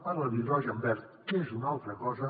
parla d’hidrogen verd que és una altra cosa